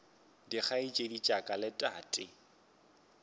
dikgaetšedi tša ka le tate